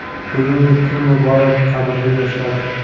Bugungi kun muborak, qadrli yoshlar!.